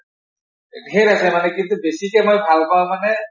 ধেৰ আছে কিন্তু বেছিকে মই ভাল পাওঁ মানে